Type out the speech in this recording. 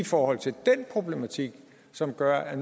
forhold til den problematik som gør at